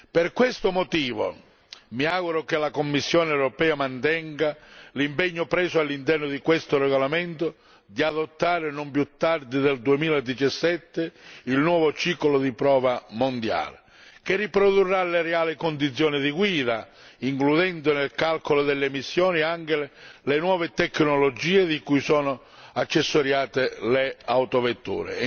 Per questo motivo, mi auguro che la Commissione europea mantenga l'impegno preso all'interno di questo regolamento di adottare, non più tardi del 2017, il nuovo ciclo di prova mondiale, che riprodurrà le reali condizioni di guida includendo nel calcolo delle emissioni anche le nuove tecnologie di cui sono accessoriate le autovetture.